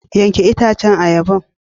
Yanke itacen ayaba.